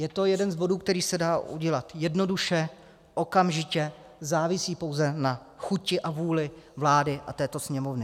Je to jeden z bodů, který se dá udělat jednoduše, okamžitě, závisí pouze na chuti a vůli vlády a této Sněmovny.